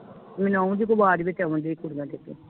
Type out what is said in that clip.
ਮੈਨੂੰ ਆਉ ਜੇ ਕੋਈ ਆਵਾਜ਼ ਵਿਚ ਆਉਣ ਦਾਈ ਕੁੜੀਆਂ ਦੀ